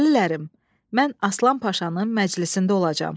Dəlilərim, mən Aslan Paşanın məclisində olacağam.